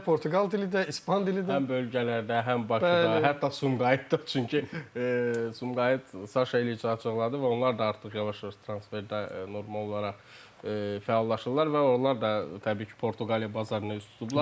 İndi sizi də Portuqal dili də, İspan dili də həm bölgələrdə, həm Bakıda, hətta Sumqayıtda, çünki Sumqayıt Saşa eləcə açıqladı və onlar da artıq yavaş-yavaş transferdə normal olaraq fəallaşırlar və onlar da təbii ki, Portuqaliya bazarına üz tutublar.